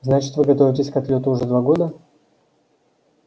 значит вы готовитесь к отлёту уже два года